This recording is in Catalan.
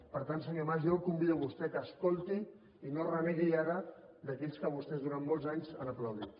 per tant senyor mas jo el convido a vostè que escolti i no renegui ara d’aquells que vostès durant molts anys han aplaudit